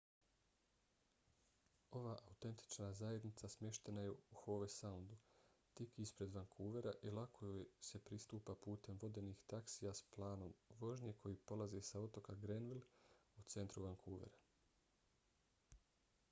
ova autentična zajednica smještena je u howe soundu tik ispred vankuvera i lako joj se pristupa putem vodenih taksija s planom vožnje koji polaze sa otoka granville u centru vancouvera